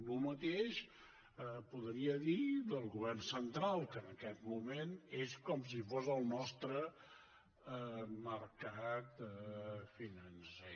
el mateix podria dir del govern central que en aquest moment és com si fos el nostre mercat financer